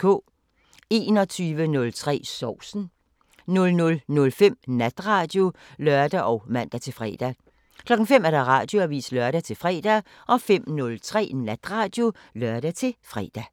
21:03: Sovsen 00:05: Natradio (lør og man-fre) 05:00: Radioavisen (lør-fre) 05:03: Natradio (lør-fre)